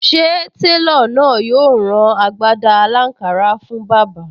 Ṣé télọ̀ náà yóò rán agbádá aláǹkárá fún bàbá?